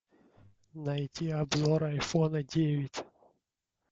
найти обзор айфона девять